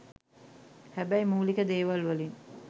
හැබැයි මුලික දේවල් වලින්